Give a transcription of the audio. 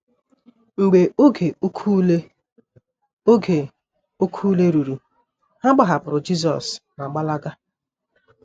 Mgbe oge oké ule oge oké ule ruru, ha gbahapụrụ Jisọs ma gbalaga.